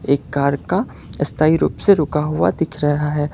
एक कार का स्थाई रूप से रुका हुआ दिख रहा है।